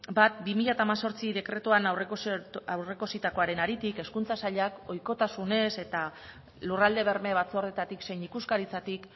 bat barra bi mila hemezortzi dekretuan aurreikusitakoaren hezkuntza sailak ohikotasunez eta lurralde berme batzordetatik zein ikuskaritzatik